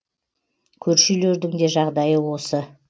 көрші үйлердің де жағдайы осы